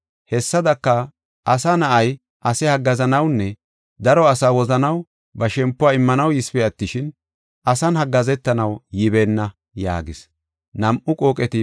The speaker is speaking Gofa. Hessadaka, Asa Na7ay ase haggaazanawunne daro asaa wozanaw ba shempuwa immanaw yisipe attishin, asan haggaazetanaw yibeenna” yaagis.